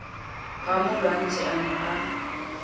ha molwantsi a ne a